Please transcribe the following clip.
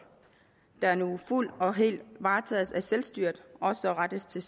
der nu fuldt og helt varetages af selvstyret også rettes til